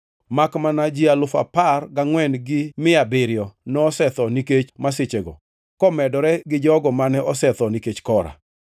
Makmana ji alufu apar gangʼwen gi mia abiriyo (14,700) nosetho nikech masichego, komedore gi jogo mane osetho nikech Kora.